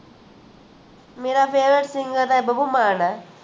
ਮੇਰਾ favorite singer ਹੈ ਬੱਬੂ ਮਾਨ ਹੈ